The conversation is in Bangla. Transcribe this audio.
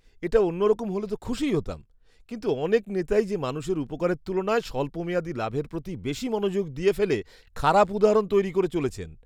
এটা অন্যরকম হলে তো খুশিই হতাম, কিন্ত অনেক নেতাই যে মানুষের উপকারের তুলনায় স্বল্পমেয়াদী লাভের প্রতি বেশি মনোযোগ দিয়ে ফেলে খারাপ উদাহরণ তৈরী করে চলেছেন।